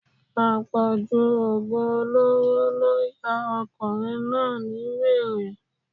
Àpọ̀jù oògùn olóró ló ya ọkùnrin náà ni wèrè